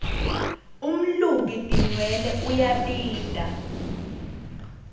umluki tinwelwe uyabita